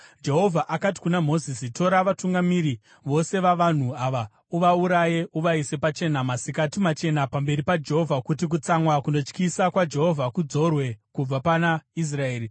Jehovha akati kuna Mozisi, “Tora vatungamiri vose vavanhu ava, uvauraye uvaise pachena masikati machena pamberi paJehovha, kuti kutsamwa kunotyisa kwaJehovha kudzorwe kubva pana Israeri.”